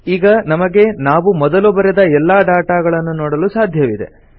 ಈಗ ನಮಗೆ ನಾವು ಮೊದಲು ಬರೆದ ಎಲ್ಲಾ ಡಾಟಾಗಳನ್ನು ನೋಡಲು ಸಾಧ್ಯವಿದೆ